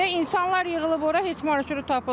İnsanlar yığılıb ora heç marşrut tapılmır.